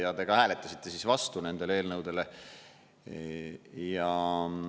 Ja te ka hääletasite vastu nendele eelnõudele.